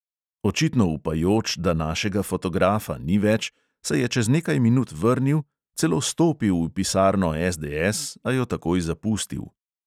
Očitno upajoč, da našega fotografa ni več, se je čez nekaj minut vrnil, celo stopil v pisarno SDS, a jo takoj zapustil.